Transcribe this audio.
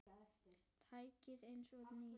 Tækið eins og nýtt.